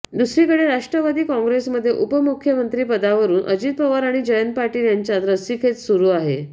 दुसरीकडे राष्ट्रवादी काँग्रेसमध्ये उपमुख्यमंत्री पदावरून अजित पवार आणि जयंत पाटील यांच्यात रस्सीखेच सुरु आहे